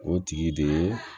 O tigi de ye